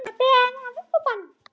Hún var ber að ofan.